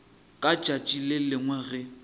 ka tšatši le lengwe ge